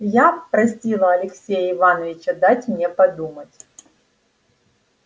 я просила алексея ивановича дать мне подумать